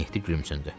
Mehdi gülümsündü.